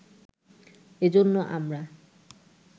এজন্য আমরা